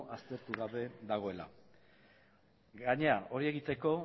aztertu gabe dagoela gainera hori egiteko